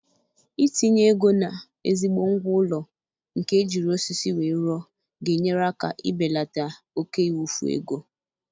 Itinye ego na ezigbo ngwá ụlọ nke ejiri osisi wee rụọ ga-enyere aka ịbelata oke ịwufu ego